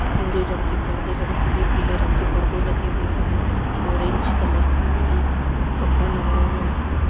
भूरे रंग के पर्दे लगे भूरे पीले रंग के परदे लगे हुए हैं ऑरेंज कलर के भी एक कपड़ा लगा हुआ है।